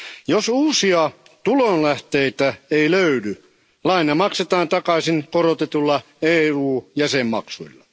Jos uusia tulonlähteitä ei löydy, laina maksetaan takaisin korotetuilla EUn jäsenmaksuilla.